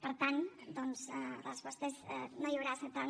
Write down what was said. per tant doncs la resposta és no hi haurà centrals